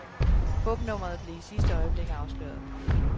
Fupnummeret blev I sidste øjeblik afsløret.